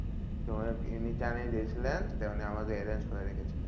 তো এমনি জানিয়ে দিয়েছিলাম তো আমাদের arrange করে রেখেছিলো।